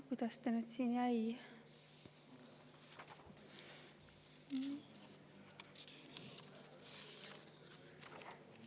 Kuidas ta nüüd siin jäi?